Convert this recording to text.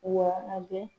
Wa a bɛ